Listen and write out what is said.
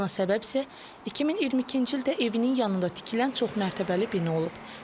Buna səbəb isə 2022-ci ildə evinin yanında tikilən çoxmərtəbəli bina olub.